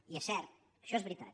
i és cert això és veritat